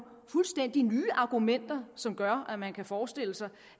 fuldstændig nye argumenter som gør at man kan forestille sig